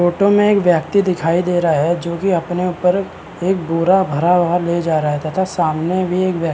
photo में एक व्यक्ति दिखाई दे रहा है जो की अपने ऊपर एक बोरा भरा हुआ ले जा रहा है तथा सामने भी एक व्य --